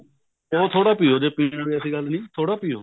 ਪੀਣਾ ਥੋੜਾ ਪਿਓ ਜੇ ਪੀਣਾ ਕੋਈ ਐਸੇ ਗੱਲ ਨਹੀਂ ਥੋੜਾ ਪਿਓ